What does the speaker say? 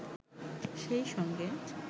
সেই সঙ্গে